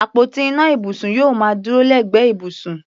Àpótí ìná ibùsùn yóò máa dúró lẹ́gbẹ̀ẹ́ ibùsùn.